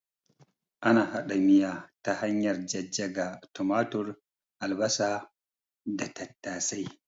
Ana hada miya ta hanyar jajjaga tumatur, albasa da tattasai